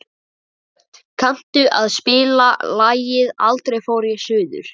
Hödd, kanntu að spila lagið „Aldrei fór ég suður“?